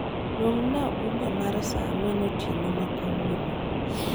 Luonga uber mar saa ang'wen otieno ma kawuono